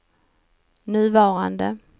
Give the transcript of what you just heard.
nuvarande